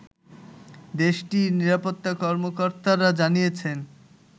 দেশটির নিরাপত্তা কর্মকর্তারা জানিয়েছেন